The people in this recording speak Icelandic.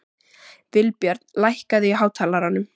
Vilbjörn, lækkaðu í hátalaranum.